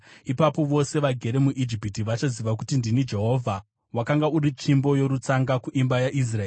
Ipapo vose vagere muIjipiti vachaziva kuti ndini Jehovha. “ ‘Wakanga uri tsvimbo yorutsanga kuimba yaIsraeri.